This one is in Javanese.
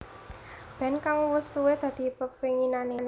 Band kang wus suwe dadi pepenginané